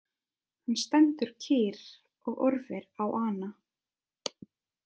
Hann stendur kyrr og horfir á hana.